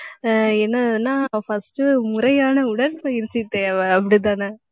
ஆஹ் என்னதுன்னா first முறையான உடற்பயிற்சி தேவை அப்படித்தானே